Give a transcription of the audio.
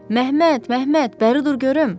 Məmməd, Məmməd, bəri dur görüm!